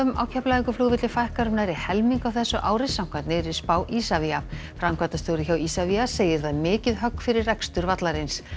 á Keflavíkurflugvelli fækkar um nærri helming á þessu ári samkvæmt nýrri spá Isavia framkvæmdastjóri hjá Isavia segir það mikið högg fyrir rekstur vallarins